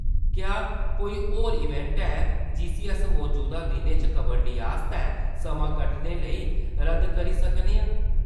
क्या कोई होर इवेंट है जिस्सी अस मजूदा दिनें च कबड्डी आस्तै समां कड्ढने लेई रद्द करी सकने आं ?